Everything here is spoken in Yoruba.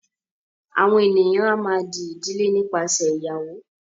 àwọn ènìyàn a má a dí ìdílé nípasẹ ìgbéyàwó.